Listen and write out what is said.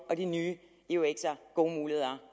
og de nye eux’er gode muligheder